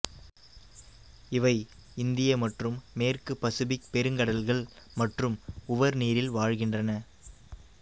இவை இந்திய மற்றும் மேற்கு பசிபிக் பெருங்கடல்கள் மற்றும் உவர் நீரில் வாழ்கின்றன